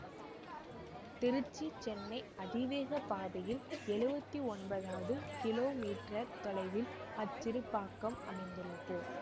திருச்சி சென்னை அதிவேக பாதையில் எழுவத்தி ஒன்பதவது கிலோமீற்றர் தொலைவில் அச்சிறுபாக்கம் அமைந்துள்ளது